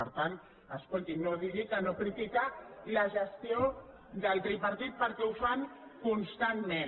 per tant escolti no digui que no critica la gestió del tripartit perquè ho fan constantment